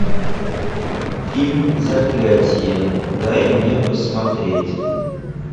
фильм заклятие дай мне посмотреть